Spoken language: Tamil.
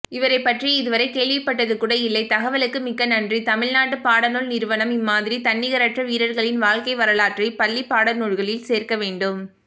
இவரைப்பற்றி இதுவ்ரைகேள்விப்பட்டதுகூடஇல்லை தகவலுக்கு மிக்கநன்றி தமிழ்நாட்டுபாடநூல் நிறுவனம் இம்மாதிரி தன்னிகரற்ற வீரர்களின் வாழ்க்கைவரலாற்றை பள்ளிபாடநூல்களில் சேர்க்கவேண்டும்